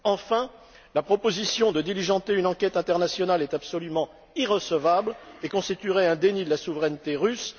Enfin, la proposition de diligenter une enquête internationale est absolument irrecevable et constituerait un déni de la souveraineté russe.